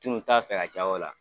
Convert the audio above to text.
tun t'a fɛ ka caya o la.